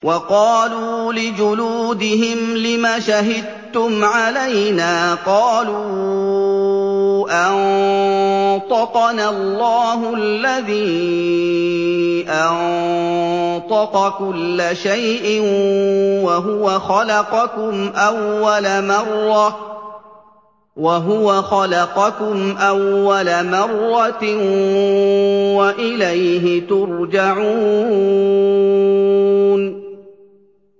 وَقَالُوا لِجُلُودِهِمْ لِمَ شَهِدتُّمْ عَلَيْنَا ۖ قَالُوا أَنطَقَنَا اللَّهُ الَّذِي أَنطَقَ كُلَّ شَيْءٍ وَهُوَ خَلَقَكُمْ أَوَّلَ مَرَّةٍ وَإِلَيْهِ تُرْجَعُونَ